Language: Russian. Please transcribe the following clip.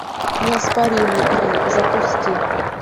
неоспоримый три запусти